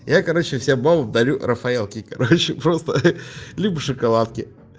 я короче всем бабам дарю рафаэлки короче просто либо шоколадки